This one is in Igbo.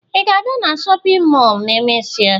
Ị ga-abịa na shọpịn mọọ ma emesịa?